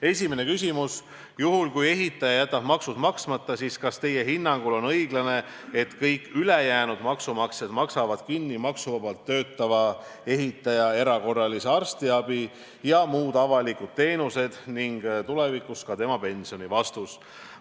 Esimene küsimus: "Juhul kui ehitaja jätab maksud maksmata, siis kas Teie hinnangul on õiglane, et kõik ülejäänud maksumaksjad maksavad kinni maksuvabalt töötava ehitaja erakorralise arstiabi ja muud avalikud teenused ning tulevikus ka tema pensioni?